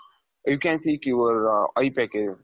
you can speak your high package.